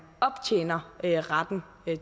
optjener retten